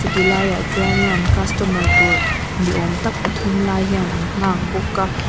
chu tilaiah chuan in an customer tur ni awm tak pathum lai hian an nghak bawk a.